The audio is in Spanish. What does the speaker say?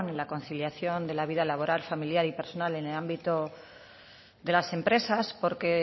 y conciliación de la vida laboral familiar y personal en el ámbito de las empresas porque